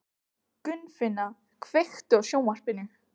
Gunnfinna, kveiktu á sjónvarpinu.